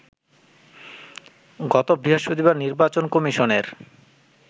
গত বৃহস্পতিবার নির্বাচন কমিশনের